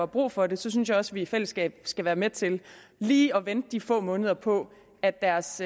brug for det synes jeg også at vi i fællesskab skal være med til lige at vente de få måneder på at deres